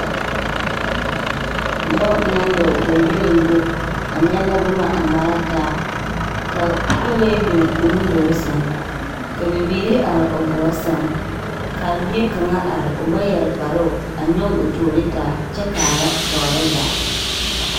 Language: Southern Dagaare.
Dɔɔ naŋ dɔɔ gyoŋgyoliŋgyo a nyɛllɛ boma a nɔrɛɛ taa ka kolee biŋ o nuduluŋ seŋ. Ka bibiiri are o gɔɔ seŋ. Ka a bie kaŋa are o ba yɛre kparoo a nyɔge o toori taa kyɛ kaara tɔɔre zaa.